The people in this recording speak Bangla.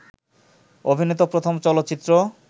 অভিনীত প্রথম চলচ্চিত্র